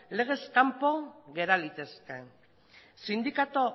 legez kanpo gera litezke sindikatu